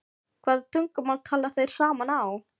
Hvaða tungumáli tala þeir saman á?